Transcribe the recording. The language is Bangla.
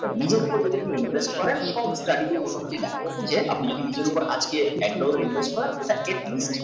নিজের উপর যদি আপনি invest করেন সব study তে মোটামুটি দেখা গেছে আপনি যদি নিজের উপর এক dollar invest করেন সেটা at least